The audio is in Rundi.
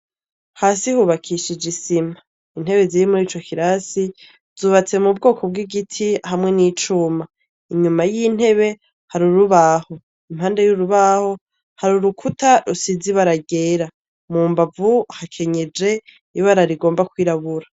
Hasi hubakishije isima, intebe ziri muri ico kirasi zubatse mu bwoko bw'igiti hamwe n'icuma, inyuma y'intebe hari urubaho, impande y'urubaho hari urukuta rusizi ibara ryera, mu mbavu hakenyeje ibara rigomba kwirabura.